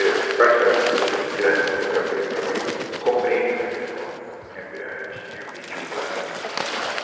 E, particularmente, essas pessoas direto com quem eu traba trabalhei compreendem essa questão eh eh de ambiente urbano, ambiente natural.